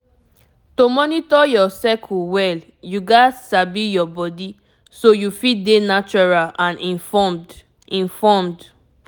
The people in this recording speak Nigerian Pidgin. to monitor your cycle well you gats sabi your body so you fit dey natural and informed informed